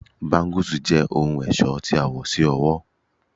Bangles jẹ ohun ọṣọ ti a wọ si ọwọ